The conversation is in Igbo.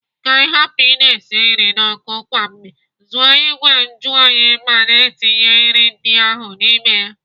Ka ị hapụ ị na-esi nri n'ọkụ kwa mgbe, zụọ ìgwè njuoyi ma na-etinye nri ndị ahụ n'ime ya.